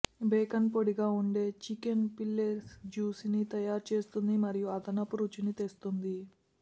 bacon పొడిగా ఉండే chicken fillet జ్యుసిని తయారు చేస్తుంది మరియు అదనపు రుచిని తెస్తుంది